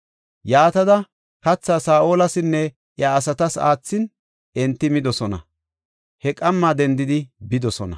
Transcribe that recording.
Yaatada kathaa Saa7olasinne iya asatas aathin, enti midosona. He qamma dendidi bidosona.